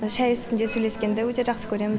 шай үстінде сөйлескенді өте жақсы көреміз